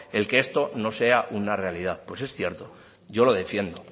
el que esto no sea una realidad pues es cierto yo lo defiendo